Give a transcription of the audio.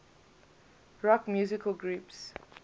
rock musical groups